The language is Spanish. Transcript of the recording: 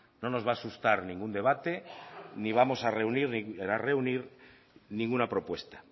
no nos va a asustar ningún debate ni vamos a reunir ninguna propuesta